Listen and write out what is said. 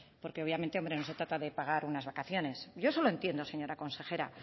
obviamente no se trata de pagar unas vacaciones yo eso lo entiendo señora consejera